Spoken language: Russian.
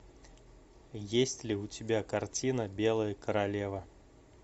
есть ли у тебя картина белая королева